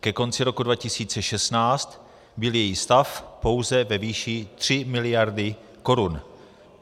Ke konci roku 2016 byl její stav pouze ve výši 3 miliardy korun.